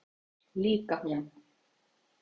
Líka hún.